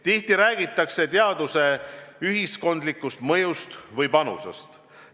Tihti räägitakse teaduse ühiskondlikust mõjust või panusest.